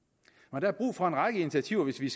der er brug for en række initiativer hvis vi